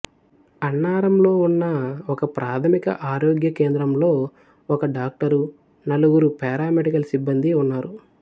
అన్నారంలో ఉన్న ఒకప్రాథమిక ఆరోగ్య కేంద్రంలో ఒక డాక్టరు నలుగురు పారామెడికల్ సిబ్బందీ ఉన్నారు